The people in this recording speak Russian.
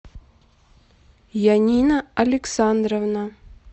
янина александровна